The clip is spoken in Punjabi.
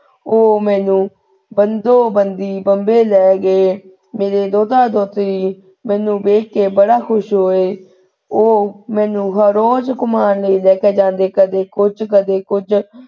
ਉਹ ਮੈਨੂੰ ਬੰਬੇ ਲੈ ਗਏ। ਮੇਰੇ ਦੋਹਤਾ ਦੋਹਤੀ ਮੈਨੂੰ ਵੇਖ ਕੇ ਬੜਾ ਖੁਸ਼ ਹੋਏ। ਉਹ ਮੈਨੂੰ ਹਰ ਰੋਜ ਘੁਮਾਉਣ ਲੈ ਲੇ ਕੇ ਜਾਂਦੇ ਕਦੇ ਕੁੱਝ ਕਦੇ ਕੁੱਝ।